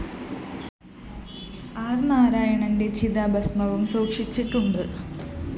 ആര്‍ നാരായണന്റെ ചിതാഭസ്മവും സൂക്ഷിച്ചിട്ടുണ്ട്